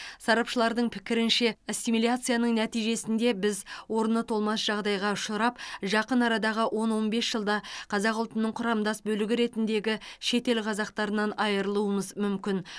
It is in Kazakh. сарапшылардың пікірінше ассимиляцияның нәтижесінде біз орны толмас жағдайға ұшырап жақын арадағы он он бес жылда қазақ ұлтының құрамдас бөлігі ретіндегі шетел қазақтарынан айырылуымыз мүмкін